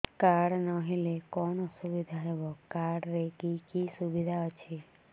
card ନହେଲେ କଣ ଅସୁବିଧା ହେବ କାର୍ଡ ରେ କି କି ସୁବିଧା ଅଛି